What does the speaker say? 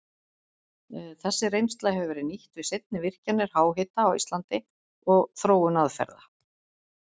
Þessi reynsla hefur verið nýtt við seinni virkjanir háhita á Íslandi og þróun aðferða.